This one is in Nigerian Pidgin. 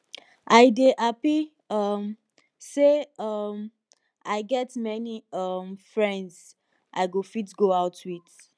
i dey happy um say um i get many um friends i go fit go out with